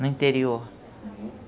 no interior.